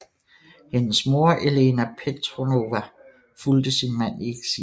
Hendes mor Elena Petrovna fulgte sin mand i eksil